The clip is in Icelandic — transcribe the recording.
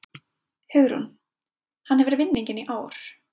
Hugrún: Hann hefur vinninginn í ár?